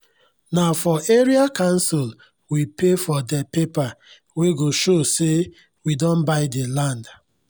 nah for area council we pay for teh paper wey go show say we don by the land